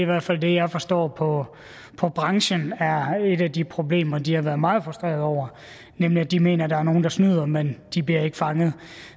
hvert fald det jeg forstår på branchen er et af de problemer de har været meget frustreret over nemlig at de mener at der er nogle der snyder men at de ikke bliver fanget